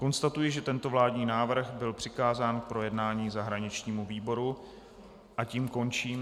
Konstatuji, že tento vládní návrh byl přikázán k projednání zahraničnímu výboru, a tím končím...